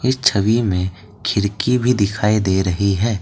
इस छवि में खिड़की भी दिखाई दे रही है।